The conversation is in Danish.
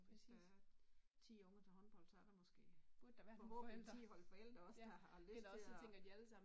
Hvis der er 10 unger til håndbold så er der måske forhåbentlig 10 hold forældre også der har lyst til at